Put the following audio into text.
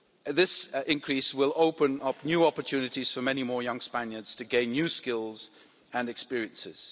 This increase will open up new opportunities for many more young Spaniards to gain new skills and experiences.